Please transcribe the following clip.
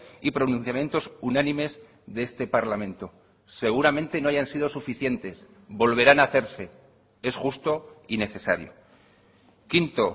y pronunciamientos unánimes de este parlamento seguramente no hayan sido suficientes volverán a hacerse es justo y necesario quinto